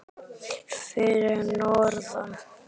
Mæltist honum vel að vanda.